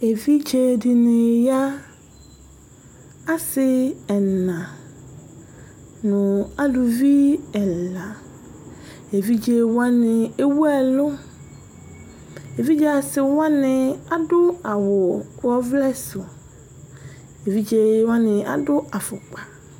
Evidze ɖìŋí ɣa: asi ɛna ŋu aluvi ɛla Evidze waŋi ewʋ ɛlu Evidze asiwaŋi aɖu awu ɔvlɛ su Evidze waŋi aɖu afukpa